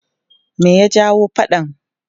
Me ya jawo faɗan?